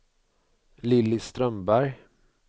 Lilly Strömberg